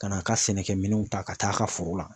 Ka n'a ka sɛnɛkɛminɛnw ta ka t'a ka foro la